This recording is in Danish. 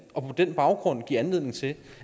og på den baggrund give anledning til